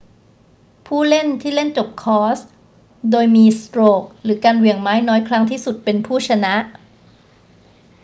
ผู้เล่นที่เล่นจบคอร์สโดยมีสโตรกหรือการเหวี่ยงไม้น้อยครั้งที่สุดเป็นผู้ชนะ